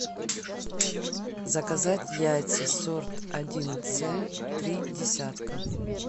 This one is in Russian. заказать яйца сорт один це три десятка